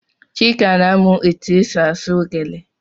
Chika na-amụ etụ esị asụ gele.